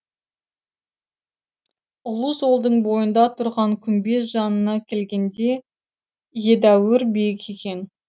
ұлы жолдың бойында тұрған күмбез жанына келгенде едәуір биік екен